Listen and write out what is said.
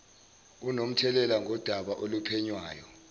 onomthelela ngodaba oluphenywayo